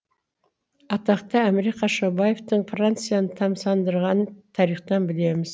атақты әміре қашаубаевтың францияны тамсандырғанын тарихтан білеміз